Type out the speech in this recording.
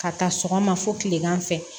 Ka taa sɔgɔma fo kilegan fɛ